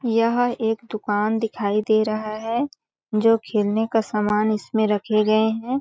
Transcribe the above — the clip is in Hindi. यह एक दुकान दिखाई दे रहा है जो खेलने का सामान इसमें रखे गए है।